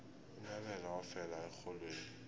unyabela wafela erholweni